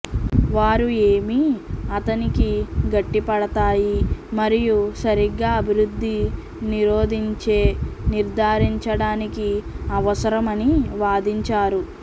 వారు ఏమీ అతనికి గట్టిపడతాయి మరియు సరిగా అభివృద్ధి నిరోధించే నిర్ధారించడానికి అవసరం అని వాదించారు